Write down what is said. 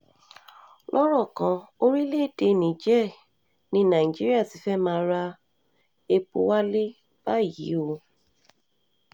um lọ́rọ̀ kan orílẹ̀-èdè níjẹ̀ẹ́ ní nàìjíríà ti fẹ́ẹ̀ máa ra epo wálé báyìí o um